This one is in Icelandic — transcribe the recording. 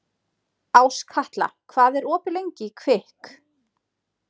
Áskatla, hvað er opið lengi í Kvikk?